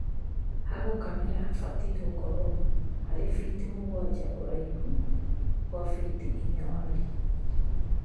Ha gũkamira habatie gũkorwo harĩ fiti mũgwanja ũraihu gwa fiti inya warie